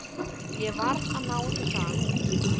Ég varð að ná ykkur þaðan út.